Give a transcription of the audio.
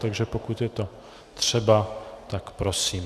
Takže pokud je to třeba, tak prosím.